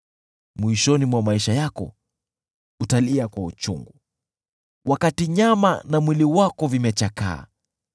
Mwishoni mwa maisha yako utalia kwa uchungu, wakati nyama na mwili wako vimechakaa.